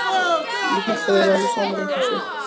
Ég hélt við værum saman í þessu.